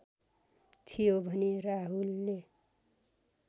थियो भने राहुलले